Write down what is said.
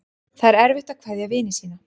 Það er erfitt að kveðja vini sína.